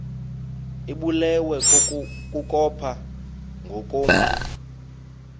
ibulewe kukopha ngokomntu